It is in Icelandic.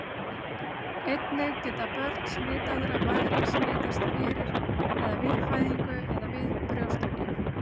Einnig geta börn smitaðra mæðra smitast fyrir eða við fæðingu eða við brjóstagjöf.